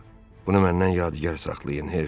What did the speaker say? Bunu məndən yadigar saxlayın, hersoq.